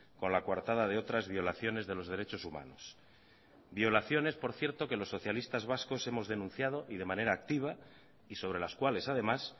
con la coartada de otras violaciones de los derechos humanos violaciones por cierto que los socialistas vascos hemos denunciado y de manera activa y sobre las cuales además